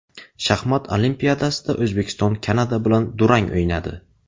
Shaxmat Olimpiadasida O‘zbekiston Kanada bilan durang o‘ynadi.